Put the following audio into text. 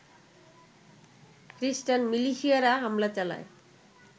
খ্রিষ্টান মিলিশিয়ারা হামলা চালায়